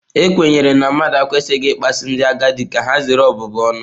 A kwenyere na mmadụ ekwesịghị ịkpasu ndị agadi ka ha zere ọbụbụ ọnụ.